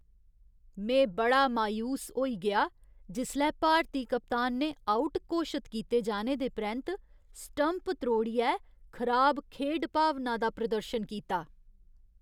में बड़ा मायूस होई गेआ जिसलै भारती कप्तान ने आउट घोशत कीते जाने दे परैंत्त स्टंप त्रोड़ियै खराब खेढ भावना दा प्रदर्शन कीता।